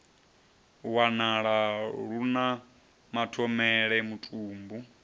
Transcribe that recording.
wanala lu na mathomele mutumbu